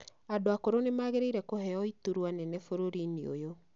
Andũ akũrũ nĩ magĩrĩire kũheo iturwa nene bũrũri-inĩ ũyũ.